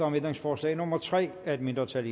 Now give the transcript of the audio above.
om ændringsforslag nummer tre af et mindretal